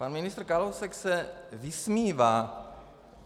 Pan ministr Kalousek se vysmívá.